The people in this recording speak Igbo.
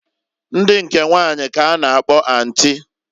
Ndi nke nwanyi k'a na-akpọ antị.